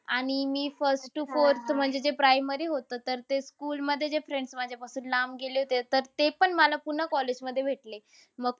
आणि मी first to fourth म्हणजे जे primary होतं तर ते school मध्ये जे friends माझ्यापासून लांब गेले होते, तर ते पण मला college पुन्हा मध्ये भेटले. मग तो